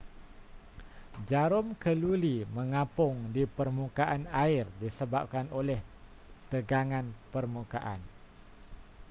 jarum keluli mengapung di permukaan air disebabkan oleh tegangan permukaan